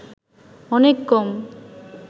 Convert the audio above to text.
অনেক কম